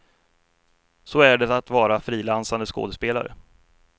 Så är det att vara frilansande skådespelare.